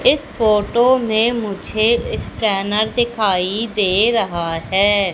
इस फोटो में मुझे स्कैनर दिखाई दे रहा है।